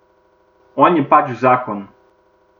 On je pač zakon.